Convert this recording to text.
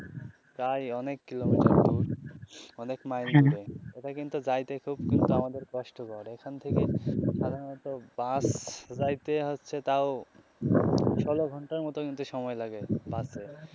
তাই অনেক কিলোমিটার অনেক মাইল দূরে যাইতে কিন্তু খুব কিন্তু আমাদের কষ্টকর এখান থেকে ধরেন হয় তো বাস যাইতে হচ্ছে তাও ষোলো ঘন্টার মতো কিন্তু সময় লাগে বাসে.